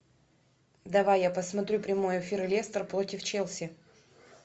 давай я посмотрю прямой эфир лестер против челси